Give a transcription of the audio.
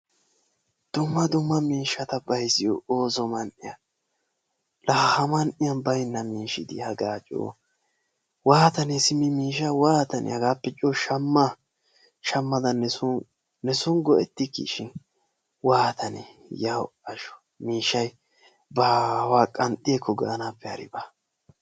Dumma dumma miishshata bayizziyo ooso man"iya. Laa ha man'iyan bayinna miishshi dii hagaa coo waatanee simi miishshaa waatanee! hagaappe coo shamma shammada neso neson go'ettikkii shin waatanee yawu"asho miishshay baawaa qanxxi ekko! Gaanaappe harabi baa.